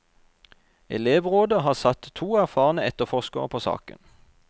Elevrådet har satt to erfarne etterforskere på saken.